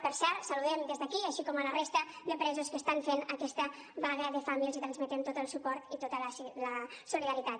per cert el saludem des d’aquí així com a la resta de presos que estan fent aquesta vaga de fam i els transmetem tot el suport i tota la solidaritat